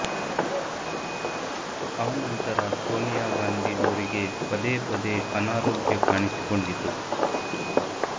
ಆ ನಂತರ ಸೋನಿಯಾಗಾಂಧಿ ಅವರಿಗೆ ಪದೇ ಪದೇ ಅನಾರೋಗ್ಯ ಕಾಣಿಸಿಕೊಂಡಿತು